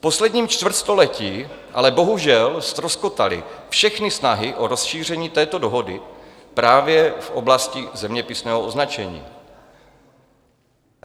V posledním čtvrtstoletí ale bohužel ztroskotaly všechny snahy o rozšíření této dohody právě v oblasti zeměpisného označení.